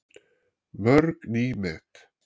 Mörg ný met